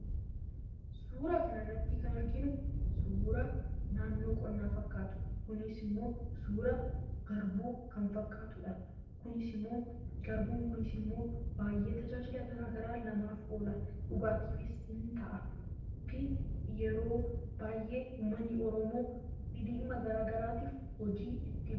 Suura kana irratti kan arginu suura naannoo qonnaa fakkaatu innis immoo garbuu kan fakkaatudha. Garbuun kunis immoo namaaf tajaajila garaa garaa oola. Dhugaatiifis in ta'a. Yeoo baay'ee uummanni Oromoo dhimma garaa garaatiif dhimma itti baha.